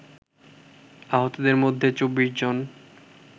আহতদের মধ্যে ২৪ জন